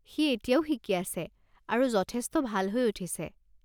সি এতিয়াও শিকি আছে আৰু যথেষ্ট ভাল হৈ উঠিছে।